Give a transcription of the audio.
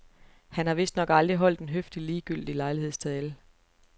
Han har vistnok aldrig holdt en høfligt ligegyldig lejlighedstale.